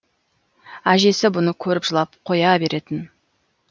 әжесі бұны көріп жылап қоя беретін